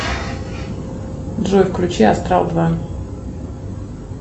джой включи астрал два